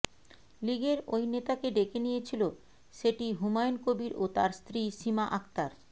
লীগের ওই নেতাকে ডেকে নিয়েছিল সেটি হুমায়ুন কবির ও তার স্ত্রী সীমা আক্তার